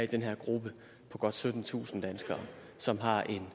den her gruppe på godt syttentusind mennesker som har et